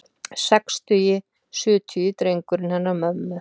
Sextugi, sjötugi drengurinn hennar mömmu.